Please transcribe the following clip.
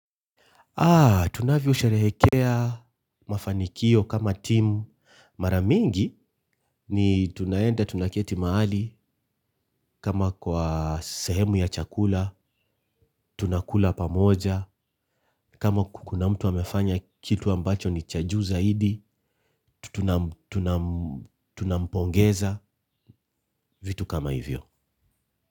Tunavyosherehekea mafanikio kama timu. Mara mingi ni tunaenda tunaketi mahali kama kwa sehemu ya chakula, tunakula pamoja, kama kuna mtu amefanya kitu ambacho ni cha juu zaidi, tunampongeza vitu kama hivyo.